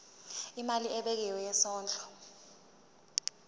imali ebekiwe yesondlo